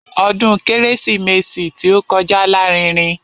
Ọdún kérésìmesì tí ó kọjá lárinrin.